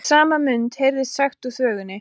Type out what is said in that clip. sama mund heyrðist sagt úr þvögunni